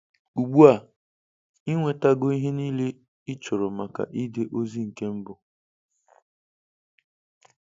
Ugbua, I Nwetago ihe niile ichọrọ maka ide ozi nke mbụ.